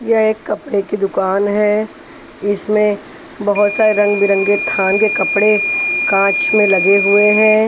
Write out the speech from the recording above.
यह एक कपड़े की दुकान है इसमें बहुत सारे रंग बिरंगे थान के कपड़े काँच में लगे हुए हैं।